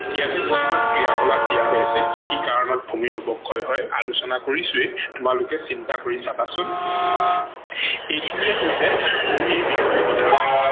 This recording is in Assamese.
ইয়াতে কিছুমান ক্ৰিয়া কলাপ দিয়া হৈছে কি কি কাৰনত ভূমিৰ অৱক্ষয় হয় আলোচনা কৰিছোৱেই তোমালোকে চিন্তা কৰি চাবা চোন। এইখিনিয়েই হৈছে ভূমি বিষয়ে কথা